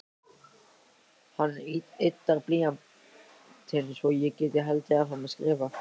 Hann yddar blýantinn svo ég geti haldið áfram að skrifa.